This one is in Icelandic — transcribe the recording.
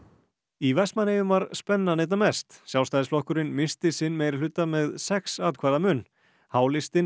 í Vestmannaeyjum var spennan einna mest Sjálfstæðisflokkurinn missti sinn meirihluta með sex atkvæða mun h listinn